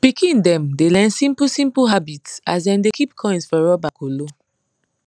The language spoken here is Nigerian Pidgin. pikin dem dey learn simplesimple habits as dem dey keep coins for rubber kolo